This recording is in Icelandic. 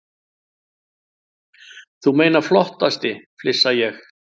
Þú meinar flottasti, flissa ég.